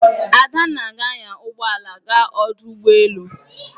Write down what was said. Adanna ga-anya ụgbọ ala gaa ọdụ ụgbọ elu.